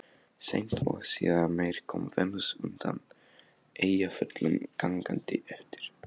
Seint og síðar meir kom Venus undan Eyjafjöllum gangandi eftir